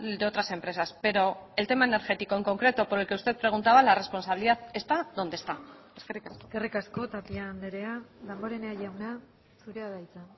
de otras empresas pero el tema energético en concreto por el que usted preguntaba la responsabilidad está donde está eskerrik asko eskerrik asko tapia andrea damborenea jauna zurea da hitza